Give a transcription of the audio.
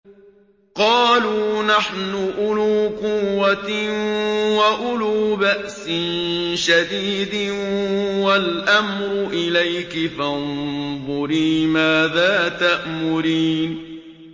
قَالُوا نَحْنُ أُولُو قُوَّةٍ وَأُولُو بَأْسٍ شَدِيدٍ وَالْأَمْرُ إِلَيْكِ فَانظُرِي مَاذَا تَأْمُرِينَ